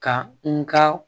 Ka n ka